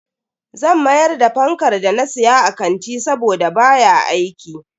Zan mayar da fankar da na siya a kanti saboda baya aiki.